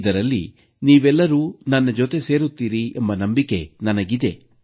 ಇದರಲ್ಲಿ ನೀವೆಲ್ಲರೂ ನನ್ನ ಜೊತೆ ಸೇರುತ್ತೀರಿ ಎಂಬ ನಂಬಿಕೆ ನನಗಿದೆ